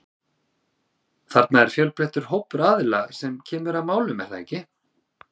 Þarna er fjölbreyttur hópur aðila sem kemur að málum er það ekki?